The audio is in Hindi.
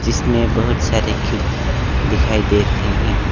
इसमें बहुत सारी खिड़की दिखाई दे रहे हैं।